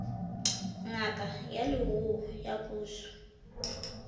ngaka ya leruo ya puso